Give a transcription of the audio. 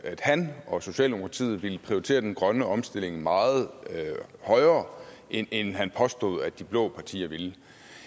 han og socialdemokratiet ville prioritere den grønne omstilling meget højere end han påstod de blå partier ville